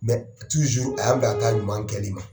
Mɛ tuzuur a y'an bila ka taa ɲuman kɛli ma.